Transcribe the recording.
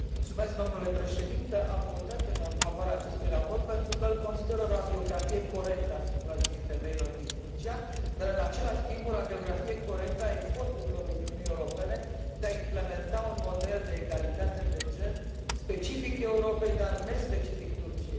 Am votat în favoarea acestui raport pentru că îl consider o radiografie corectă a situației femeilor din Turcia și în același timp o radiografie corectă a eforturilor Uniunii Europene de a implementa un model de egalitate de gen specific Europei, dar nespecific Turciei.